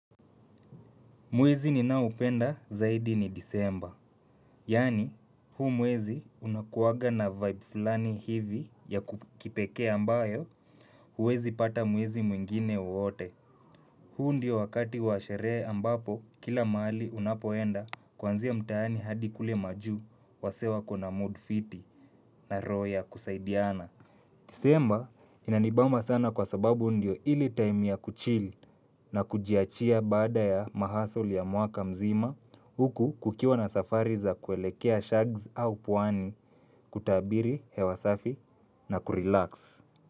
Mwezi ninaoupenda zaidi ni disemba. Yaani huu mwezi unakuwaga na vibe fulani hivi ya ku kipekee ambayo huwezi pata mwezi mwingine wote. Huu ndio wakati wa sherehe ambapo kila mahali unapoenda kwanzia mtaani hadi kule majuu wasee wako na mood fiti na roho ya kusaidiana. Disemba inanibamba sana kwa sababu ndio ile time ya kuchill na kujiachia baada ya mahasoli ya mwaka mzima huku kukiwa na safari za kuelekea shags au pwani kutabiri hewa safi na kurelax.